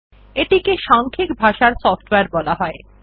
এটিকে সাংখিক ভাষার সফ্টওয়্যার বলা যায়